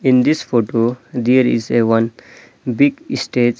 in this photo there is a one big stage.